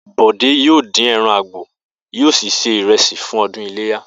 Bò̩dé yóò dín e̩ran àgbò, yóò sì se ìre̩sì fún o̩dún iléyá